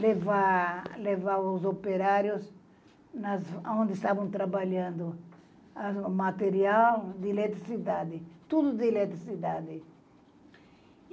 levar, levar os operários nas onde estavam trabalhando, o material de eletricidade, tudo de eletricidade.